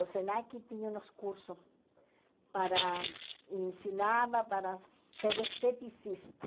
O SENAC tinha uns cursos para... Ensinava para ser esteticista.